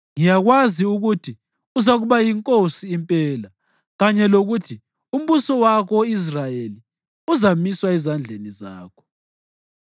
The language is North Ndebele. Ngiyakwazi ukuthi uzakuba yinkosi impela kanye lokuthi umbuso wako-Israyeli uzamiswa ezandleni zakho.